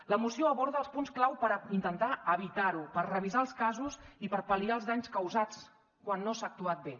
la moció aborda els punts clau per intentar evitarho per revisar els casos i per pal·liar els danys causats quan no s’ha actuat bé